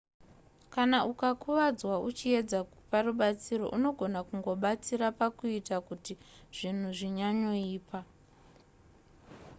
kana ukakuvadzwa uchiedza kupa rubatsiro unogona kungobatsira pakuita kuti zvinhu zvinyanyoipa